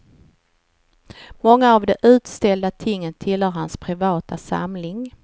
Många av de utställda tingen tillhör hans privata samling.